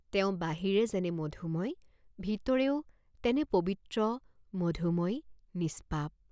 তেওঁ বাহিৰে যেনে মধুময় ভিতৰেও তেনে পবিত্ৰ, মধুময়, নিষ্পাপ।